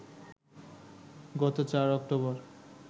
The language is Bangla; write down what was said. গত ৪ অক্টোবর